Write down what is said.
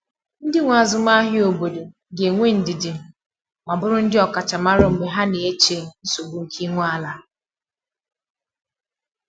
Ndị nwe azụmahịa obodo ga-enwe ndidi ma bụrụ ndị ọkachamara mgbe ha na-eche nsogbu nke ị nwe ala.